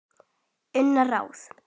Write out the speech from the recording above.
Önnur ráð